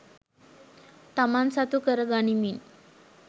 තමන් සතුකරගනිමින්